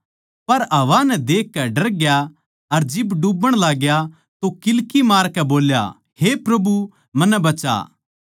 पर हवा नै देखकै डरग्या अर जिब डूब्बण लाग्या तो किल्की मारकै बोल्या हे प्रभु मन्नै बचा